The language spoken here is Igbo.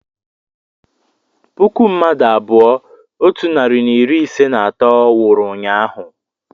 puku mmadụ abụọ otu narị na iri ise na atọ nwụrụ ụnyaahụ